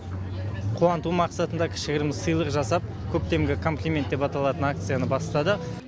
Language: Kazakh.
қуанту мақсатында кішігірім сыйлық жасап көктемгі комплимент деп аталатын акцияны бастадық